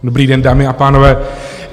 Dobrý den, dámy a pánové.